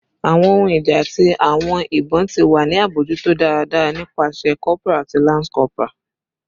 Awọn ohun ija ati awọn ibon ti wa ni abojuto daradara nipasẹ corporal ati lance corporal